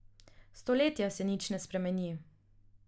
Stoletja se nič ne spremeni.